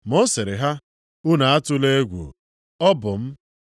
Ma ọ sịrị ha, “Unu atụla egwu. Ọ bụ m.”